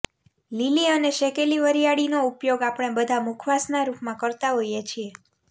લીલી અને શેકેલી વરિયાળી નો ઉપયોગ આપણે બધા મુખવાસ ના રૂપ માં કરતાં હોઈએ છીએ